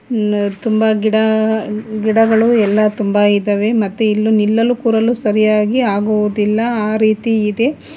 ತುಂಬ ಗಿಡ ಗಿಡಗಳು ಎಲ್ಲಾ ತುಂಬ ಇದಾವೆ ಮತ್ತೆ ಇಲ್ಲಿ ನಿಲ್ಲಲು ಕೂರಲು ಸರಿಯಾಗಿ ಆಗುವುದಿಲ್ಲ ಆ ರೀತಿ ಇದೆ